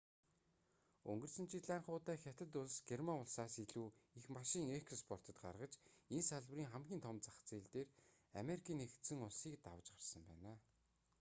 өнгөрсөн жил анх удаа хятад улс герман улсаас илүү их машин экспортод гаргаж энэ салбарын хамгийн том зах зээл дээр америкийн нэгдсэн улсыг давж гарсан байна